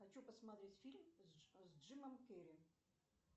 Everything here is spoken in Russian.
хочу посмотреть фильм с джимом керри